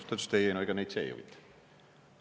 Siis ta ütles, et ei, ega neid see ei huvita.